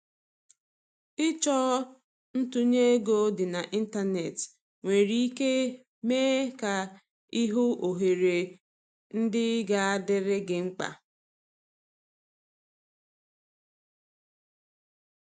Ịchọ ntunye ego dị na ịntanetị nwere ike mee ka i hụ ohere ndị ga adịrị gi mkpa.